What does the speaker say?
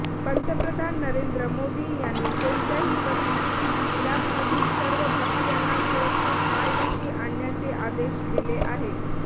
पंतप्रधान नरेंद्र मोदी यांनी कोणत्याही परिस्थितीत इराकमधील सर्व भारतीयांना सुरक्षित मायदेशी आणण्याचे आदेश दिले आहेत